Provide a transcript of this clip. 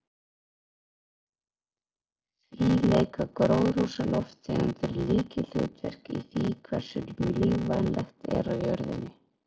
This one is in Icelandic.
Því leika gróðurhúsalofttegundir lykilhlutverk í því hversu lífvænlegt er á jörðinni.